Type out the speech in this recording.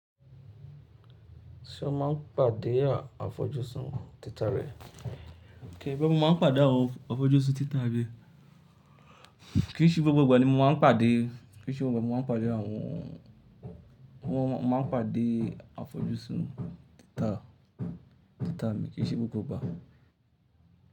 Ṣé o máa ń pàdé àwọn afọjú sún títà rẹ? Kìí ṣe gbogbo ìgbà ni mo máa ń pàdé, kì í ṣe gbogbo ìgbà mo máa ń pàdé àwọn, wọ́n máa ń pàdé àwọn afọjú sún títà, títà mi kì í ṣe gbogbo ìgbà.